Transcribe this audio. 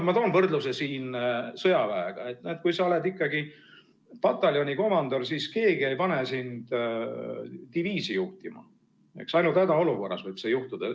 Ma toon võrdluse siin sõjaväega, et kui sa oled ikkagi pataljonikomandör, siis keegi ei pane sind diviisi juhtima, ainult hädaolukorras võib see juhtuda.